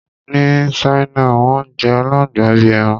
Ní Ṣáínà, wọ́n ń jẹ àláǹgbà bí i ẹran.